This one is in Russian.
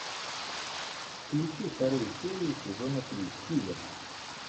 включи вторую серию сезона три хилер